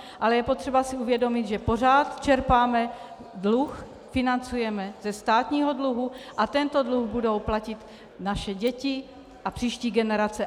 Ale je potřeba si uvědomit, že pořád čerpáme dluh, financujeme ze státního dluhu, a tento dluh budou platit naše děti a příští generace.